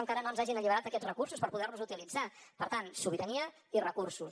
encara no ens hagin alliberat aquests recursos per poder los utilitzar per tant sobirania i recursos